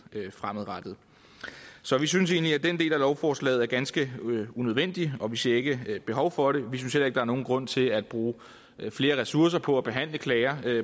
fremadrettet så vi synes egentlig at den del af lovforslaget er ganske unødvendig og vi ser ikke behov for det vi synes heller ikke der er nogen grund til at bruge flere ressourcer på at behandle klager